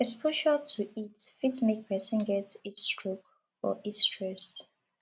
exposure to heat fit make person get heat stroke or heat stress